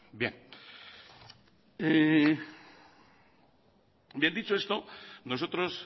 bien dicho esto nosotros